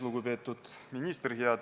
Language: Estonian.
Lugupeetud ministrid!